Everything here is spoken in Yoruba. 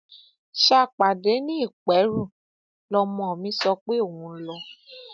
ṣàpàdé ni ìpẹrù lọmọ mi sọ pé òun ń lọ